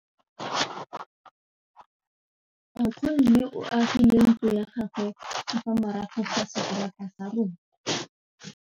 Nkgonne o agile ntlo ya gagwe ka fa morago ga seterata sa rona.